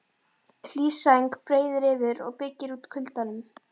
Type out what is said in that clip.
Hlý sæng breiðir yfir og byggir út kuldanum.